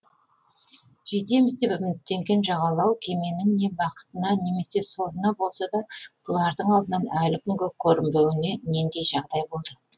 жетеміз деп үміттенген жағалау кеменің не бақытына немесе сорына болса да бұлардың алдынан әлі күнге көрінбеуіне нендей жағдай болды